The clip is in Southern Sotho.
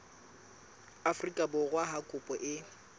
afrika borwa ha kopo e